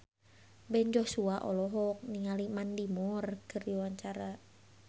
Ben Joshua olohok ningali Mandy Moore keur diwawancara